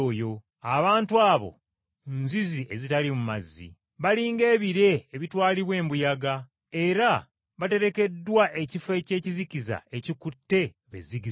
Abantu abo nzizi ezitaliimu mazzi. Bali ng’ebire ebitwalibwa embuyaga, era baterekeddwa ekifo eky’ekizikiza ekikutte be zigizigi.